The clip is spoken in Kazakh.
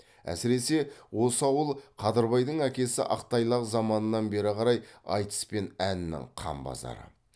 әсіресе осы ауыл қадырбайдың әкесі ақтайлақ заманынан бері қарай айтыс пен әннің қан базары